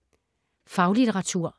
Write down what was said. Faglitteratur